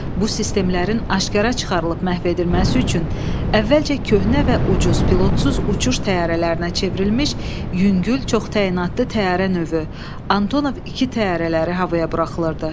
Bu sistemlərin aşkara çıxarılıb məhv edilməsi üçün əvvəlcə köhnə və ucuz pilotsuz uçuş təyyarələrinə çevrilmiş yüngül, çox təyinatlı təyyarə növü Antonov-2 təyyarələri havaya buraxılırdı.